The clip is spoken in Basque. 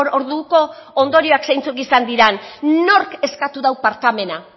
orduko ondorioak zeintzuk izan diran nork eskatu dau barkamena